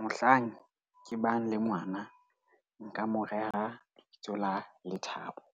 Mohlang ke bang le ngwana, nka mo reha lebitso la Lethabo.